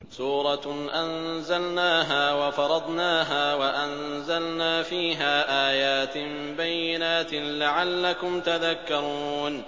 سُورَةٌ أَنزَلْنَاهَا وَفَرَضْنَاهَا وَأَنزَلْنَا فِيهَا آيَاتٍ بَيِّنَاتٍ لَّعَلَّكُمْ تَذَكَّرُونَ